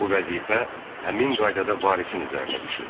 Bu vəzifə həmin qaydada varisin üzərinə düşür.